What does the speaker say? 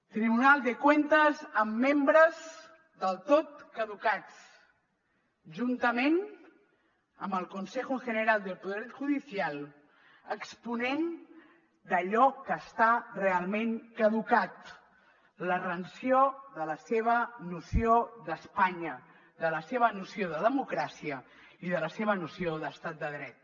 tribunal de cuentas amb membres del tot caducats juntament amb el consejo general del poder judicial exponent d’allò que està realment caducat la rancior de la seva noció d’espanya de la seva noció de democràcia i de la seva noció d’estat de dret